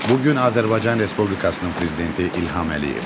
Bu gün Azərbaycan Respublikasının prezidenti İlham Əliyevdir.